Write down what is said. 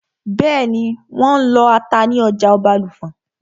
Bẹ́ẹ̀nì, wọ́n n lọ ata ní ọjà Ọbàlùfọ̀n